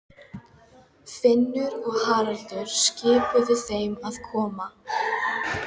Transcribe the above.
Finnur og Haraldur skipuðu þeim að koma.